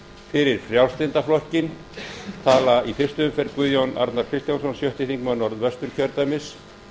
fyrir frjálslynda flokkinn tala í fyrstu umferð guðjón arnar kristjánsson sjötti þingmaður norðvesturkjördæmis